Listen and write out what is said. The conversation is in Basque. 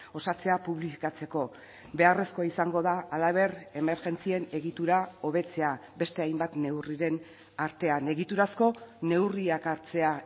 osatzea publifikatzeko beharrezkoa izango da halaber emergentzien egitura hobetzea beste hainbat neurriren artean egiturazko neurriak hartzea